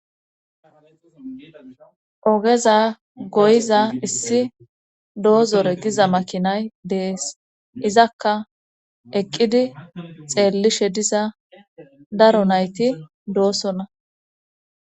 Ogeza goyiza issi doozore giza makinay de7es izakka eqqidi xeellishe diza daro nayti doosona.